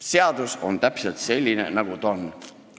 Seadus on täpselt selline, nagu ta on.